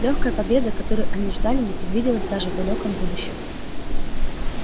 лёгкая победа которой они ждали не предвиделась даже в далёком будущем